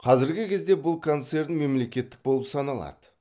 қазіргі кезде бұл концерн мемлекеттік болып саналады